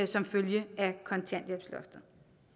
som følge af kontanthjælpsloftet